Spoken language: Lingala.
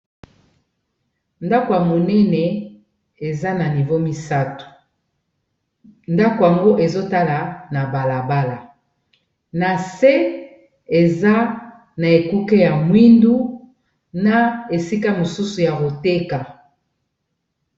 Ndako ya monene eza na nivo misato ndako yango ezotala na balabala na se eza na ekuke ya mwindu na esika mosusu ya koteka.